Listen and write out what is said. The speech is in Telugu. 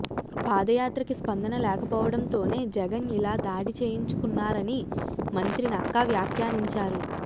పాదయాత్రకి స్పందన లేకపోవడంతోనే జగన్ ఇలా దాడి చేయించుకున్నారని మంత్రి నక్కా వ్యాఖ్యానించారు